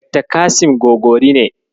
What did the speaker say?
Dakta Kasim Gogori ne.